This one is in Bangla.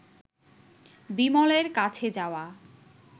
বিমলের কাছে যাওয়া